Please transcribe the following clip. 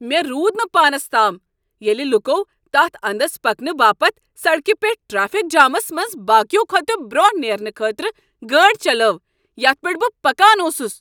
مے٘ روٗد نہٕ پانس تام ییلہِ لوٗكو تتھ اندس پكنہٕ باپت سڈكہِ پیٹھ ٹریفِک جامس منٛز باقییو كھوتہٕ برونہہ نیرنہٕ خٲطرٕ گٲڑۍ چلٲو یتھ پیٹھ بہٕ پكان اوسُس۔